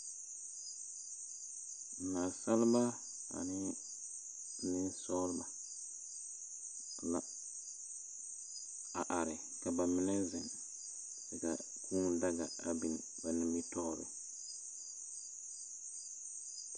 Nansaaleba aneŋ nensͻgelebͻ la, a are ka ba mine zeŋ ka kũũ daga a biŋ ba nimitͻͻre.